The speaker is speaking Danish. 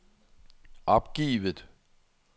opgivet